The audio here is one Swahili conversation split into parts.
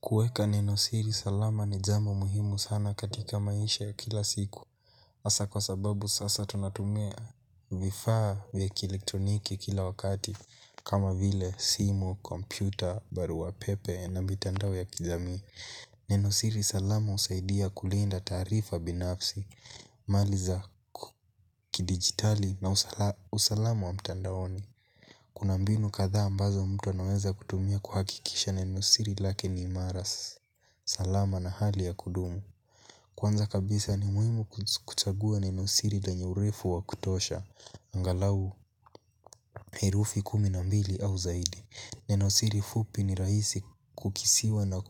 Kueka Nenosiri Salama ni jambo muhimu sana katika maisha ya kila siku. Hasa kwa sababu sasa tunatumia vifaa vya kielektroniki kila wakati. Kama vile simu, kompyuta, barua pepe na mitandao ya kijamii. Nenosiri salama husaidia kulinda taarifa binafsi, mali za kidigitali na usalamu wa mtandaoni. Kuna mbinu kadhaa ambazo mtu anaweza kutumia kuhakikisha nenosiri lake ni imara. Salama na hali ya kudumu kwanza kabisa ni muhimu kuchagua nenosiri lenye urefu wa kutosha. Angalau herufi kumi na mbili au zaidi. Nenosiri fupi ni rahisi kukisiwa na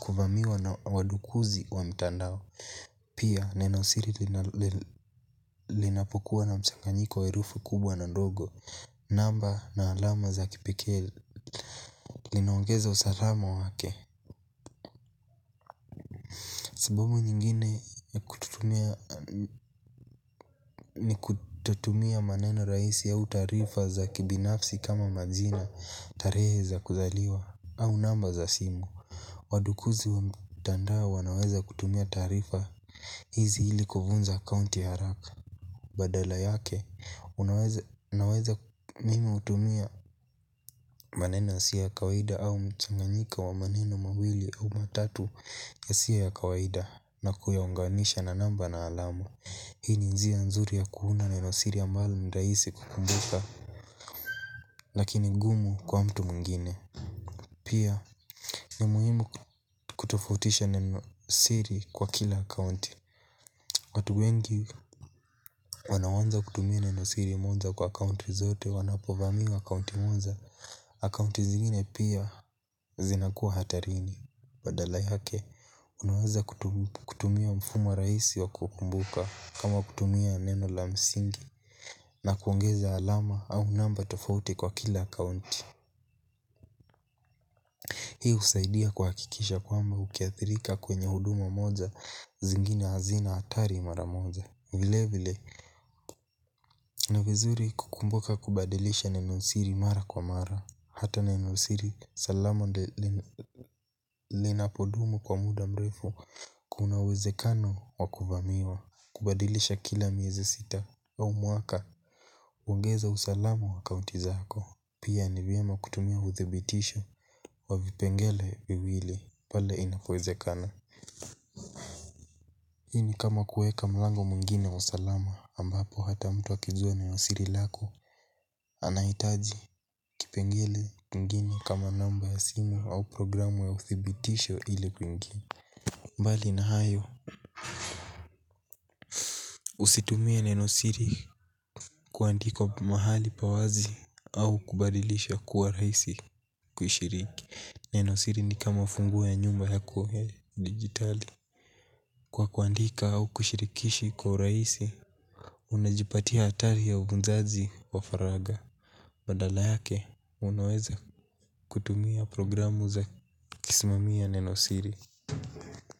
kuvamiwa na wadukuzi wa mtandao. Pia nenosiri linapokua na mchanganyiko wa herufi kubwa na ndogo. Namba na alama za kipekee linaongeza usalama wake. Sababu nyingine ni kutotumia maneno rahisi au taarifa za kibinafsi kama majina tarehe za kuzaliwa au namba za simu. Wadukuzi wa mtandao wanaweza kutumia taarifa hizi ili kufunza account ya haraka badala yake unaweza mimi hutumia maneno yasio ya kawaida au mchanganyiko wa maneno mawili au matatu yasio ya kawaida na kuyaunganisha na namba na alama hii ni njia nzuri ya kuunda nenosiri ambalo ni rahisi kukumbuka. Lakini ngumu kwa mtu mwingine. Pia ni muhimu kutofautisha nenosiri kwa kila akaunti. Watu wengi wanaoanza kutumia nenosiri moja kwa akaunti zetu. Wanapovamiwa akaunti moja akaunti zingine pia zinakuwa hatarini. Badala yake unaweza kutumia mfumo rahisi wa kukumbuka kama kutumia neno la msingi na kuongeza alama au namba tofauti kwa kila akaunti. Hii husaidia kuhakikisha kwamba ukiathirika kwenye huduma moja zingine hazina athari mara moja. Vile vile, ni vizuri kukumbuka kubadilisha nenosiri mara kwa mara hata nenosiri salama ndio lina ninapodumu kwa muda mrefu kuna uwezekano wa kuvamiwa. Kubadilisha kila miezi sita wa mwaka huongeza usalama wa akaunti zako. Pia ni vyema kutumia uthibitisho wa vipengele viwili pale inapowezekana. Hii ni kama kuweka mlango mwingine wa usalama ambapo hata mtu akizua nenosiri lako. Anahitaji kipengele mengine kama namba ya simu au programu ya uthibitisho ili kwingi. Mbali na hayo usitumie nenosiri kuandika mahali pa wazi au kubadilisha kuwa rahisi. Kushiriki nenosiri ni kama funguo ya nyumba yakuwe digitali. Kwa kuandika au kushirikishi kwa urahisi unajipatia hatari ya ubunzazi wa faragha. Badala yake unaweza kuitumia programu za kusimamia nenosiri.